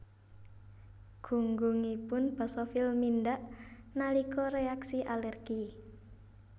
Gunggungipun basofil mindhak nalika reaksi alergi